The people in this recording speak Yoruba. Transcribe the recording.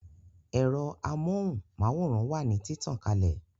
Ero amóhùn máwòrán wà ní títàn kalẹ̀